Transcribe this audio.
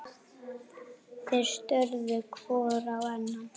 Þeir störðu hvor á annan.